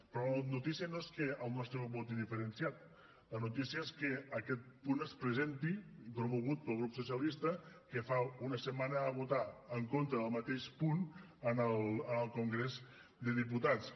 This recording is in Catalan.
però la notícia no és que el nostre grup voti diferenciat la notícia és que aquest punt es presenti promogut pel grup socialista que fa una setmana va votar en contra del mateix punt en el congrés dels diputats